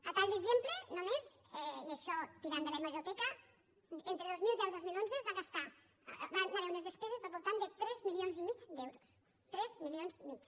a tall d’exemple només i això tirant de l’hemeroteca entre dos mil deu i dos mil onze es van gastar hi van haver unes despeses del voltant de tres milions i mig d’euros tres milions i mig